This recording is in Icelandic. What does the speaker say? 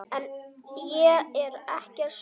En ég er ekkert sjúk.